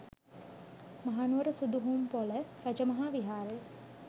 Mahanuwara Suduhumpola Rajamaha Viharaya